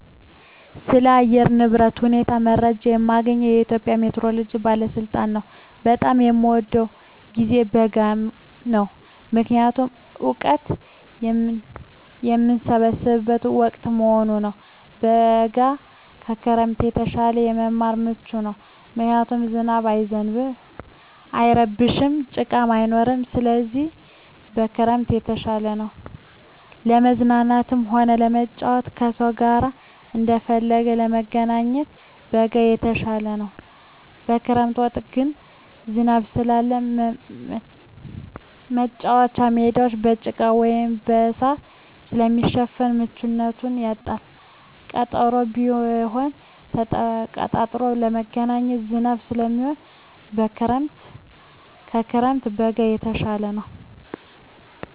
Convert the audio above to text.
ስለ አየር ንብረት ሁኔታ መረጃ የማገኘዉ ከኢትዮጵያ ሜትሮሎጂ ባለስልጣን ነዉ። በጣም የምወደዉ ጊዜ በጋ ነዉ ምክንያቱም እወቀት የምሰበስብበት ወቅት በመሆኑ ነዉ። በጋ ከክረምት የተሻለ ለመማር ምቹ ነዉ ምክንያቱም ዝናብ አይረብሽም ጭቃም አይኖርም ስለዚህ ከክረምት የተሻለ ነዉ። ለመዝናናትም ሆነ ለመጫወት ከሰዉ ጋር እንደፈለጉ ለመገናኘት በጋ የተሻለ ነዉ። በክረምት ወቅት ግን ዝናብ ስላለ መቻወቻ ሜዳወች በጭቃ ወይም በእሳር ስለሚሸፈን ምቹነቱን ያጣል ቀጠሮም ቢሆን ተቀጣጥሮ ለመገናኘት ዝናብ ስለሚሆን ከክረምት በጋ የተሻለ ነዉ።